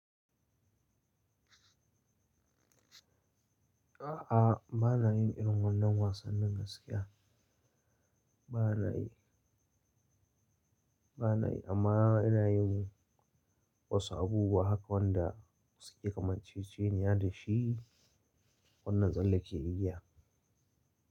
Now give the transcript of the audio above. A'a, ba na yin irin wannan wasannin gaskiya. Ba na yi, ba na yi amma ina yin wasu abubuwa haka wanda suke kamanceceniya dashi, wannan tsalle ke yi.